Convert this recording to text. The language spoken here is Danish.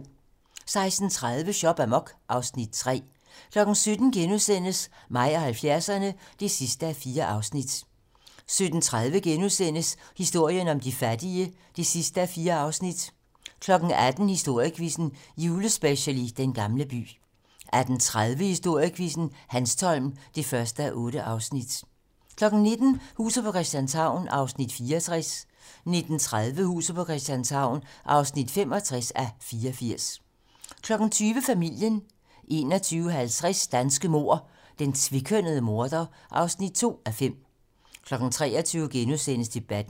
16:30: Shop amok (Afs. 3) 17:00: Mig og 70'erne (4:4)* 17:30: Historien om de fattige (4:4)* 18:00: Historiequizzen - Julespecial i Den gamle by 18:30: Historiequizzen: Hanstholm (1:8) 19:00: Huset på Christianshavn (64:84) 19:30: Huset på Christianshavn (65:84) 20:00: Familien 21:50: Danske mord: Den tvekønnede morder (2:5) 23:00: Debatten *